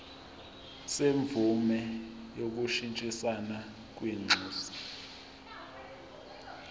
semvume yokushintshisana kwinxusa